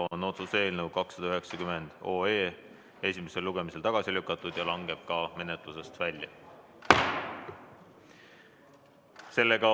Otsuse eelnõu 290 on esimesel lugemisel tagasi lükatud ja langeb menetlusest välja.